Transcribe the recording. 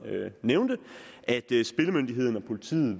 nævnte at spillemyndigheden og politiet